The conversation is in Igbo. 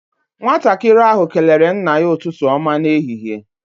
Nwatakịrị ahụ kelere nna ya ụtụtụ ọma n'ehihie.